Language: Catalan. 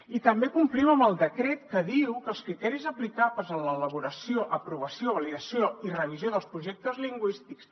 i també complim amb el decret que diu que els criteris aplicables en l’elaboració aprovació validació i revisió dels projectes lingüístics